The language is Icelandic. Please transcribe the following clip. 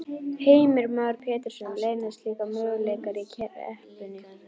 Heimir Már Pétursson: Leynast líka möguleikar í kreppunni?